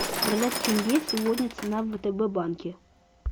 продать тенге сегодня цена в втб банке